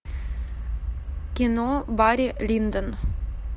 кино барри линдон